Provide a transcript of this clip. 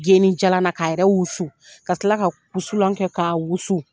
Geni jalan ka yɛrɛ wusu ka kila ka wusulan kɛ ka wusu.